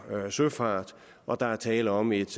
søfart og der er tale om et